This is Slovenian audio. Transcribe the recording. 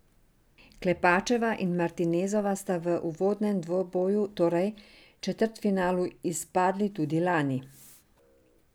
Klepačeva in Martinezova sta v uvodnem dvoboju, torej četrtfinalu, izpadli tudi lani.